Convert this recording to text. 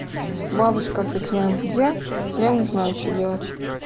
бабушка фиг знает где я не знаю что делать